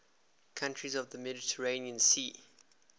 countries of the mediterranean sea